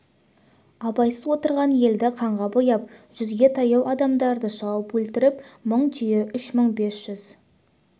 абайсыз отырған елді қанға бояп жүзге таяу адамды шауып өлтіріп мың түйе үш мың бес жүз